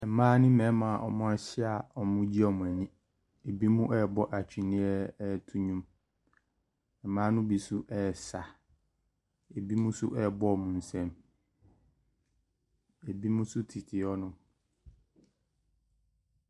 Mmaa ne mmarima a wɔahyia a wɔregye wɔn ani. Binom rebɔ twene reto nnwom. Mmaa no bi nso resa. Ebinom nso rebɔ wɔn nsam. Ebinom nso tete hɔnom.